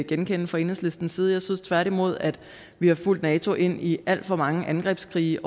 genkende fra enhedslistens side jeg synes tværtimod at vi har fulgt nato ind i alt for mange angrebskrige